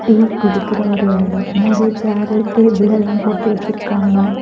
Tea குடிக்கற ஒரு இடம் நெறைய சேர் டேபிள் எல்லா போட்டு வச்சிருக்காங்க.